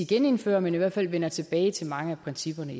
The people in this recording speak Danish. genindfører men i hvert fald vender tilbage til mange af principperne